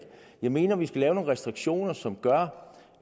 jeg mener vi skal lave nogle restriktioner som gør